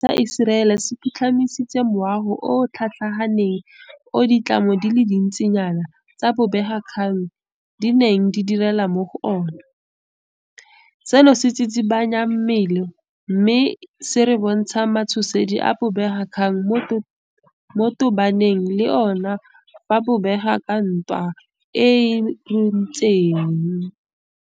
Karolo e e botlhokwa thata ya dipeeletso tsa rona ke diphetogo tse digolo mo ditheong tsa rona tse re samaganeng le tsona mo maphateng a a jaaka lephata la motlakase, la mafaratlhatlha a ditlhaeletsano, la metsi le la boemelakepe le la diterene.